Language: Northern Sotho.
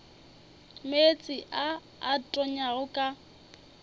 meetse a a tonyago ka